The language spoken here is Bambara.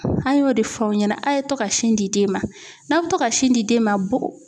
An y'o de fɔ aw ɲɛna a' ye to ka sin di den ma n'a bɛ to ka sin di den ma bo